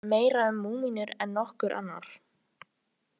Ég veit meira um múmíur en nokkur annar.